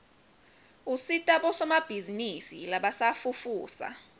usita bosomabhizinisi labasafufusa